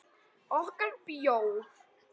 Okkar bjór.